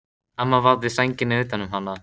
Amma vafði sænginni utan um hana.